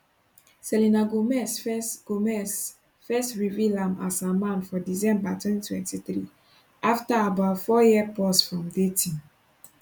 selena gomez first gomez first reveal am as her man for december 2023 afta about four year pause from dating